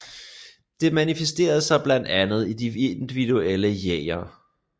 Det manifesterer sig blandt andet i de individuelle jeger